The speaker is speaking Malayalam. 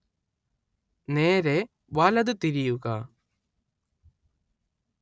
നേരേ വലത് തിരിയുക